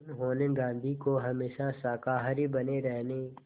उन्होंने गांधी को हमेशा शाकाहारी बने रहने